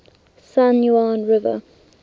san juan river